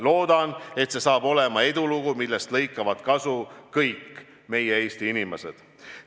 Loodan, et sellest tuleb edulugu, millest lõikavad kasu kõik meie Eesti inimesed.